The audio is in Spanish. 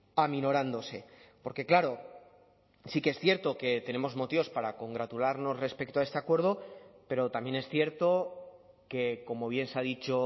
aminorándose porque claro sí que es cierto que tenemos motivos para congratularnos respecto a este acuerdo pero también es cierto que como bien se ha dicho